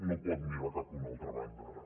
no pot mirar cap a una altra banda ara